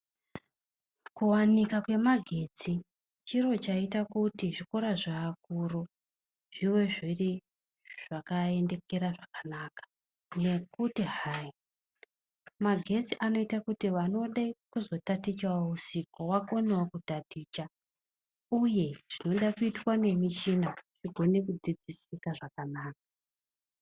Kuwanikwa kwemagetsi chiro chaita kuti zvikora zveakuru zvive zviri zvakaendekera zvakanaka, ngekuti hai magetsi anoite kuti vanode kuzotaticha usiku vakonewo kutaticha uye zvinode kuitwa ngemichina zvikone kudzidzisika zvakanaka.